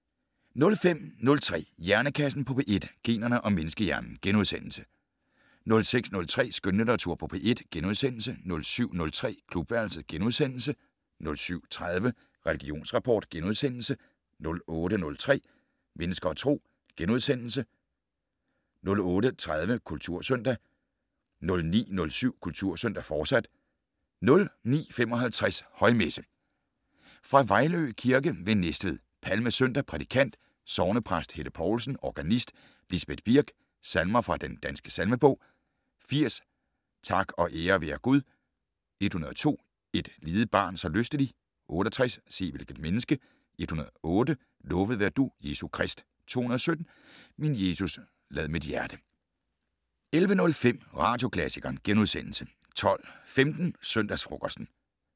05:03: Hjernekassen på P1: Generne og menneskehjernen * 06:03: Skønlitteratur på P1 * 07:03: Klubværelset * 07:30: Religionsrapport * 08:03: Mennesker og Tro * 08:30: Kultursøndag 09:07: Kultursøndag, fortsat 09:55: Højmesse - Fra Vejlø Kirke ved Næstved. Palmesøndag. Prædikant: Sognepræst Helle Poulsen. Organist: Lisbet Birk. Salmer fra Den Danske Salmebog: 80 "Tak og ære være Gud". 102 "Et lidet barn så lystelig". 68 "Se, hvilket menneske". 108 "Lovet være du, Jesus Krist". 217 "Min Jesus, lad mit hjerte". 11:05: Radioklassikeren * 12:15: Søndagsfrokosten